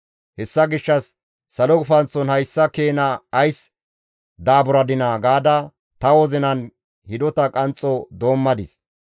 Hessa gishshas salo gufanththon hayssa keena ays daaburadinaa gaada ta wozinan hidota qanxxo doommadis.